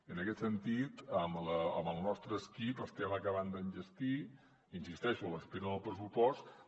en aquest sentit amb el nostre equip estem acabant d’enllestir hi insisteixo a l’espera del pressupost